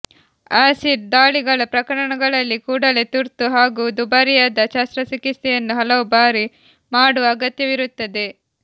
acid ದಾಳಿಗಳ ಪ್ರಕರಣಗಳಲ್ಲಿ ಕೂಡಲೇ ತುರ್ತು ಹಾಗೂ ದುಬಾರಿಯಾದ ಶಸ್ತ್ರಚಿಕಿತ್ಸೆಯನ್ನು ಹಲವು ಬಾರಿ ಮಾಡುವ ಅಗತ್ಯವಿರುತ್ತದೆ